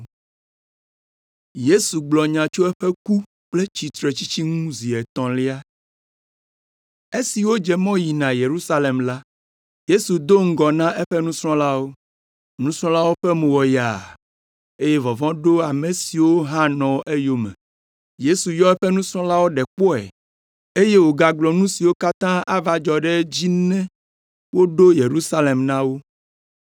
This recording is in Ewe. Esi wodze mɔ yina Yerusalem la, Yesu do ŋgɔ na eƒe nusrɔ̃lawo. Nusrɔ̃lawo ƒe mo wɔ yaa, eye vɔvɔ̃ ɖo ame siwo hã nɔ eyome. Yesu yɔ eƒe nusrɔ̃lawo ɖe kpɔe, eye wògagblɔ nu siwo katã ava dzɔ ɖe edzi ne woɖo Yerusalem la na wo: